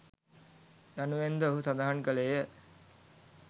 යනුවෙන්ද ඔහු සඳහන් කළේය.